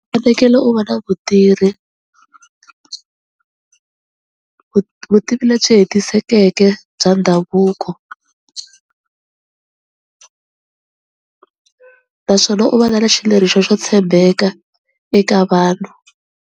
Fanekele u va na vutivi lebyi hetisekeke bya ndhavuko naswona u va na na xileriso xo tshembeka eka vanhu.